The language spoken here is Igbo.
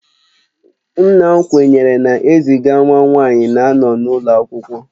Nna m kwenyere na eziga nwa nwanyi na-anọ n'ulo akwụkwọ